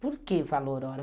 Por que valor hora?